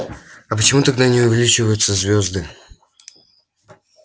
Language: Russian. а почему тогда не увеличиваются звёзды